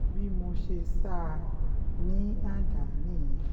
bí mo ṣe sá a ní àdá um nìyẹn